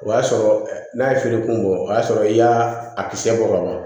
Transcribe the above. O y'a sɔrɔ n'a ye feerekun bɔ o y'a sɔrɔ i y'a a kisɛ bɔ ka bɔ a la